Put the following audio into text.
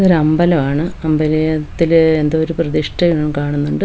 ഒരമ്പലാണ് അമ്പലേ-ത്തില് എന്തോര് പ്രതിഷ്ഠയും കാണുന്നുണ്ട്.